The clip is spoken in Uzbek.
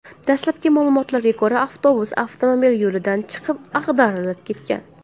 Dastlabki ma’lumotlarga ko‘ra, avtobus avtomobil yo‘lidan chiqib, ag‘darilib ketgan.